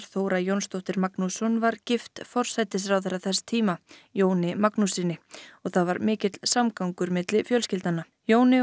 Þóra Jónsdóttir Magnússon var gift forsætisráðherra þess tíma Jóni Magnússyni og það var mikill samgangur milli fjölskyldna Jóni